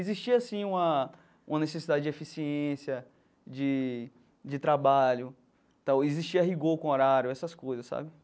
Existia, sim, uma uma necessidade de eficiência, de de trabalho tal, existia rigor com horário, essas coisas, sabe?